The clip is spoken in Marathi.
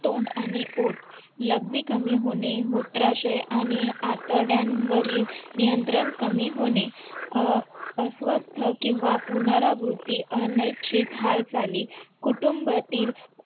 तोंड आणि ओठ लघवी कमी होणे मूत्राशय आणि आतड्यांवरील नियंत्रण कमी होणे अं अस्वस्थ किंवा पुनरावृत्ती हालचाली कुटुंबातील